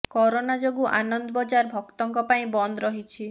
corona ଯୋଗୁ ଆନନ୍ଦ ବଜାର ଭକ୍ତଙ୍କ ପାଇଁ ବନ୍ଦ ରହିଛି